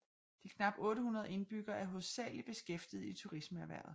De knap 800 indbyggere er hovedsageligt beskæftiget i turismeerhvervet